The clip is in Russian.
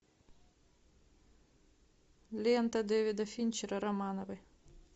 лента дэвида финчера романовы